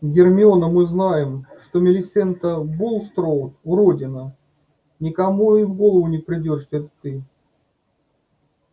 гермиона мы знаем что милисента булстроуд уродина никому и в голову не придёт что это ты